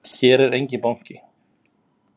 Hér er enginn banki!